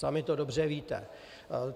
Sami to dobře víte.